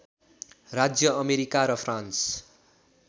राज्य अमेरिका र फ्रान्स